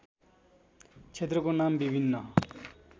क्षेत्रको नाम विभिन्न